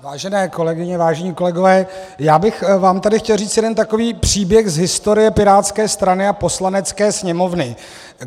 Vážené kolegyně, vážení kolegové, já bych vám tady chtěl říct jeden takový příběh z historie pirátské strany a Poslanecké sněmovny.